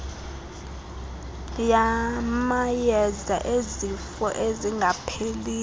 yamayeza ezifo ezingapheliyo